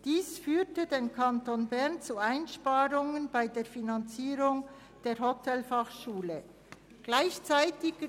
Dies führte für den Kanton Bern zu Einsparungen bei der Finanzierung der Hotelfachschule Thun.